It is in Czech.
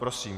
Prosím.